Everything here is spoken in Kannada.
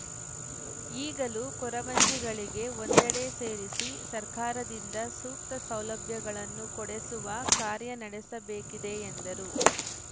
ಈಗಲೂ ಕೊರವಂಜಿಗಳಿಗೆ ಒಂದೆಡೆ ಸೇರಿಸಿ ಸರ್ಕಾರದಿಂದ ಸೂಕ್ತ ಸೌಲಭ್ಯಗಳನ್ನು ಕೊಡಿಸುವ ಕಾರ್ಯ ನಡೆಸಬೇಕಿದೆ ಎಂದರು